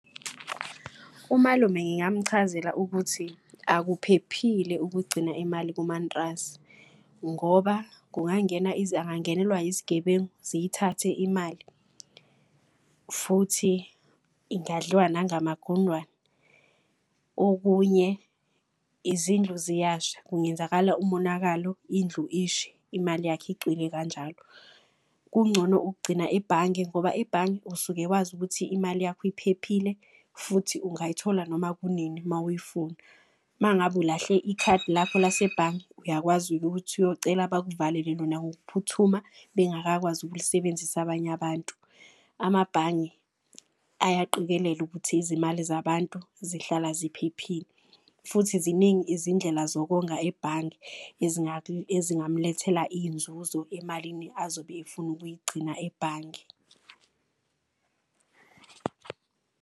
Umalume ngingamchazela ukuthi akuphephile ukugcina imali kumantrasi, ngoba angangenelwa yizigebengu ziyithathe imali futhi ingadliwa nangamagundwane. Okunye, izindlu ziyasha kungenzakala umonakalo, indlu ishe imali yakhe icwile kanjalo. Kungcono ukugcina ebhange ngoba ebhange usuke wazi ukuthi imali yakho iphephile futhi ungayithola noma kunini mawuyifuna. Mangabe ulahle ikhadi lakho lasebhange uyakwazi ukuthi uyocela bekuvalele lona ngokuphuthuma. Bengakakwazi ukulisebenzisa abanye abantu. Amabhange ayaqikelela ukuthi izimali zabantu zihlala ziphephile futhi ziningi izindlela zokonga ebhange. Ezingamlethela iyinzuzo emalini azobe efuna ukuyigcina ebhange.